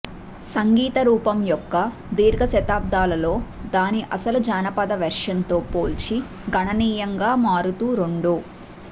సంగీత రూపం యొక్క దీర్ఘ శతాబ్దాలలో దాని అసలు జానపద వెర్షన్ తో పోల్చి గణనీయంగా మారుతూ రోండో